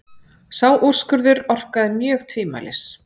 Sá úrskurður orkaði mjög tvímælis.